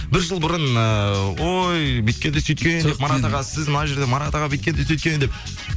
бір жыл бұрын ыыы ой бүйткен де сөйткен марат аға сіз мына жерде марат аға бүйткен де сөйткен деп